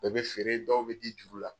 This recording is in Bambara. Bɛɛ bɛ feere, dɔw bɛ di juru la.